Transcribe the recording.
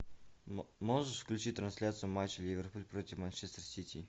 можешь включить трансляцию матча ливерпуль против манчестер сити